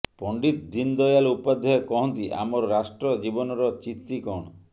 ପଣ୍ଡିତ ଦୀନଦୟାଲ ଉପାଧ୍ୟାୟ କହନ୍ତି ଆମର ରାଷ୍ଟ୍ର ଜୀବନର ଚିତି କଣ